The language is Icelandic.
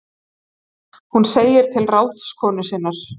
Hún segir til ráðskonu sinnar